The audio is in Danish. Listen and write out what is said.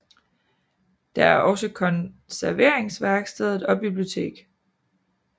Der er også konserveringværkstedet og bibliotek